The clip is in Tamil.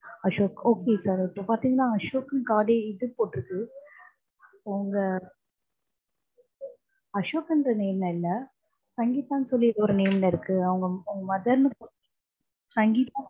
அசோக் okay okay பாதிங்கன்னா அசோக் காது இது போட்டிருக்கு உங்க அசோக்குன்ற name ல இல்ல சங்கீதான்னு சொல்லி ஒரு name ல இருக்கு அவங்க உங்க mother னு சங்கீதா